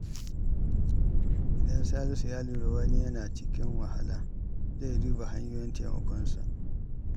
Idan Salisu ya lura wani yana cikin wahala, zai duba hanyoyin taimakonsa.